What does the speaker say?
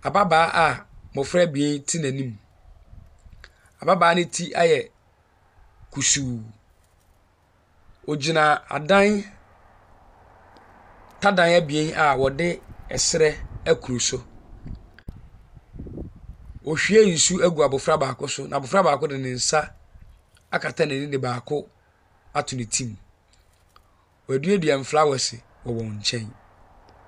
Ababaawa a mmofra abien te a’anim. Ababaawa ne ti ayɛ kusuu. Ogyina adan tadan abien a wɔde a serɛ akuru so. Ɔrehwie nsu ɛgu abofra baako so na abofra baako de ne nsa akata n’ani de baako ato ne ti mu. Wɔaduadua frawɛse wɔ wɔn nkyɛn.